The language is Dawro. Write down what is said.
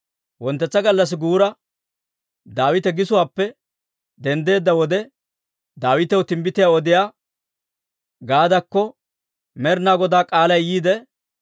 Wonttetsa gallassi guura, Daawite gisuwaappe denddeedda wode, Daawitaw timbbitiyaa odiyaa Gaadakko Med'inaa Godaa k'aalay yiide,